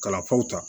Kalafaw ta